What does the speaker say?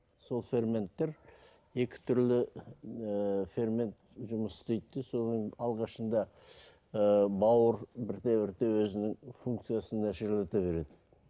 сол ферменттер екі түрлі ііі фермент жұмыс істейді де соның алғашында ыыы бауыр бірте бірте өзінің функциясын нашарлата береді